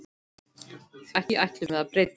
Því ætlum við að breyta.